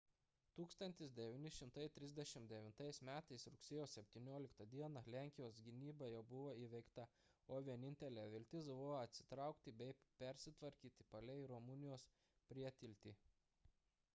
1939 m rugsėjo 17 d lenkijos gynyba jau buvo įveikta o vienintelė viltis buvo atsitraukti bei persitvarkyti palei rumunijos prietiltį